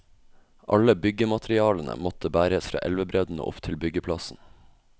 Alle byggematerialene måtte bæres fra elvebredden og opp til byggeplassen.